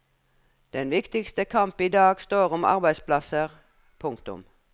Den viktigste kamp idag står om arbeidsplasser. punktum